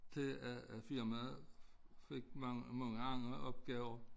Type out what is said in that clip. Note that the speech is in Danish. Til at at firmaet fik mange mange andre opgaver